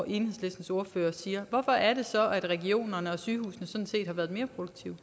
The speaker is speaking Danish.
enhedslistens ordfører siger hvorfor er det så at regionerne og sygehusene sådan set har været mere produktive